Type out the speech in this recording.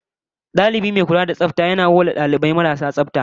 Dalibi mai kula da tsafta yakan sa mu mu kamo marasu tsafta don a horas da su